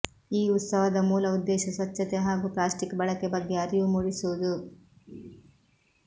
ಈ ಉತ್ಸವದ ಮೂಲ ಉದ್ದೇಶ ಸ್ವಚ್ಛತೆ ಹಾಗೂ ಪ್ಲಾಸ್ಟಿಕ್ ಬಳಕೆ ಬಗ್ಗೆ ಅರಿವು ಮೂಡಿಸುವುದು